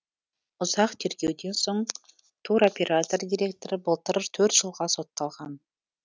ұзақ тергеуден соң туроператор директоры былтыр жылға сотталған